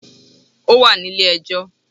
Ó wà nílé ẹ jọ́